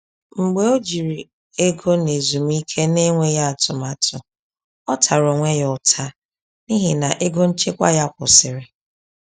Mgbe o jiri ego n’ezumike n’enweghị atụmatụ, ọ tara onwe ya ụta n’ihi na ego nchekwa ya kwụsịrị.